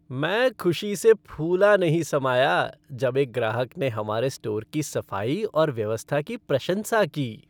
मैं खुशी से फूला नहीं समाया जब एक ग्राहक ने हमारे स्टोर की सफाई और व्यवस्था की प्रशंसा की।